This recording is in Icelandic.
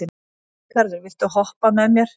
Ríkharður, viltu hoppa með mér?